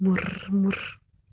мур мур